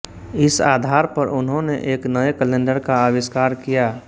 इस आधार पर उनहोने एक नए कैलेंडर का आविष्कार किया